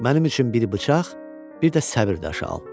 Mənim üçün bir bıçaq, bir də səbr daşı al.